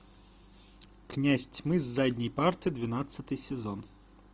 князь тьмы с задней парты двенадцатый сезон